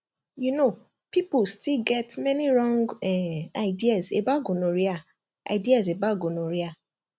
you know people still get many wrong um ideas about gonorrhea ideas about gonorrhea